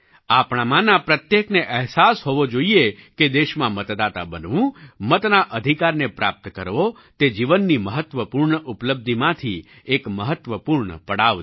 આપણામાંના પ્રત્યેકને અહેસાસ હોવો જોઈએ કે દેશમાં મતદાતા બનવું મતના અધિકારને પ્રાપ્ત કરવો તે જીવનની મહત્ત્વપૂર્ણ ઉપલબ્ધિમાંથી એક મહત્ત્વપૂર્ણ પડાવ છે